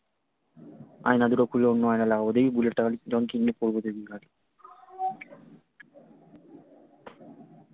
আয়না দুটো খুলে অন্য আয়না লাগাব দেখি বুলেট টা যখন কিনবো করবো দেখবি খালি